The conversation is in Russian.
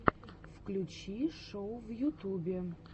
включи шоу в ютубе